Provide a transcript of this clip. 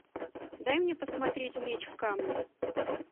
дай мне посмотреть меч в камне